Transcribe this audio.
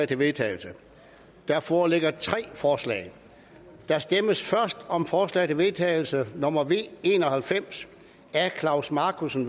til vedtagelse der foreligger tre forslag der stemmes først om forslag til vedtagelse nummer v en og halvfems af klaus markussen